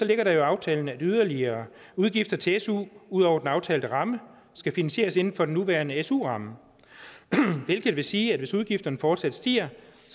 ligger der i aftalen at yderligere udgifter til su ud over den aftalte ramme skal finansieres inden for den nuværende su ramme hvilket vil sige at hvis udgifterne fortsat stiger